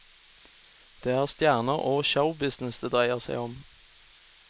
Det er stjerner og showbusiness det dreier seg om.